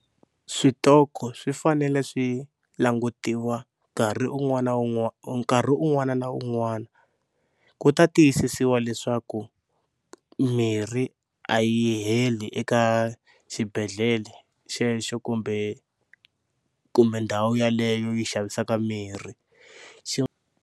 Switoko swi fanele swi langutiwa nkarhi un'wana na nkarhi un'wana na un'wana ku ta tiyisisiwa leswaku mirhi a yi heli eka xibedhlele xexo kumbe kumbe ndhawu yeleyo yi xavisaka mirhi xi.